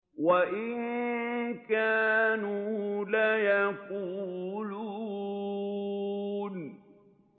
وَإِن كَانُوا لَيَقُولُونَ